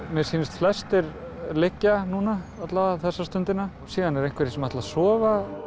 mér sýnist flestir liggja alla vega þessa stundina síðan eru einhverjir sem ætla að sofa